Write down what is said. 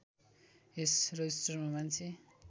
यस रजिस्टरमा मान्छे